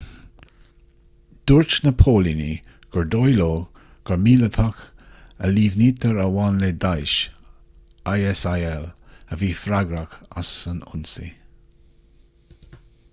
dúirt na póilíní gur dóigh leo gur míleatach a líomhnaítear a bhain le daesh isil a bhí freagrach as an ionsaí